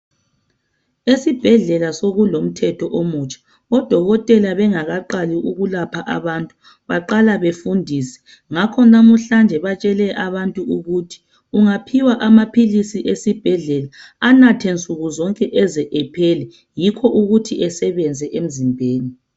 Esibhedlela sokulomthetho omutsha, odokotela bengakaqali ukulapha abantu baqala befundise. Ngakho namuhlanje batshele abantu ukuthi ungaphiwa amaphilisi esibhedlela, anathe nsuku zonke eze ephele yikho ukuthi esebenze emzimbeni.